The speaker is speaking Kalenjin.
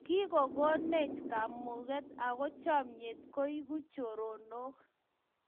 Kikogonech kamuget ago chamnyet kongeegu choronok